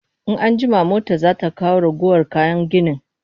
In an jima mota za ta kawo ragowar kayan gini